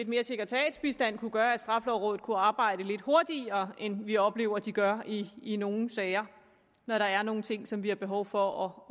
mere sekretariatsbistand kunne gøre at straffelovrådet kunne arbejde lidt hurtigere end vi oplever de gør i nogle sager når der er nogle ting som vi har behov for